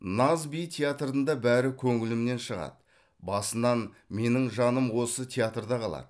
наз би театрында бәрі көңілімнен шығады басынан менің жаным осы театрда қалады